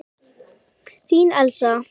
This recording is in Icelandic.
Þín Elísa.